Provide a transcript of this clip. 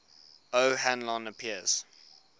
o hanlon appears